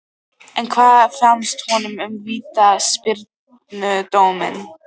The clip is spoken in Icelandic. En hvað fannst honum um vítaspyrnudóminn?